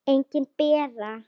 Engin Bera.